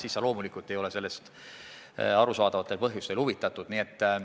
Siis sa ei ole sellest arusaadavatel põhjustel huvitatud.